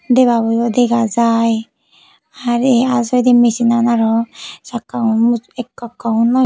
debabo yo dega jai hari al sugaide machine aroo sakka gun ekka ekka gun noi.